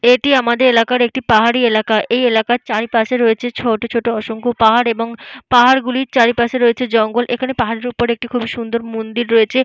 এটি আমাদের এলাকার একটি পাহাড়ি এলাকা। এই এলাকার চারিপাশে রয়েছে ছোট ছোট অসংখ্য পাহাড় এবং পাহাড়গুলির চারিপাশে রয়েছে জঙ্গল। এখানে পাহাড়ের ওপর একটি খুবই সুন্দর মন্দির রয়েছে।